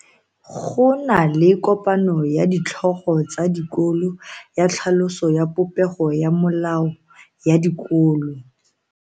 Go na le kopano ya ditlhogo tsa dikolo ya tlhaloso ya popego ya melao ya dikolo.